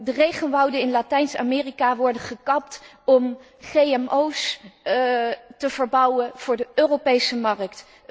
De regenwouden in Latijns Amerika worden gekapt om GGO's te verbouwen voor de Europese markt.